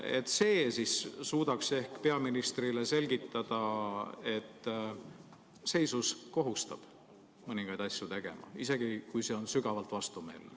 Ehk see suudaks peaministrile selgitada, et seisus kohustab mõningaid asju tegema, isegi kui see on sügavalt vastumeelne.